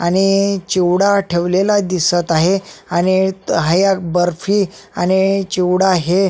आणि चिवडा ठेवलेला दिसत आहे आणि हया एक बर्फी आणि चिवडा हे--